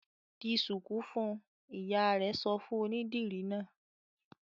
"Di ṣùkú fún un!" Ìyá rẹ̀ sọ fún onídìrí náà.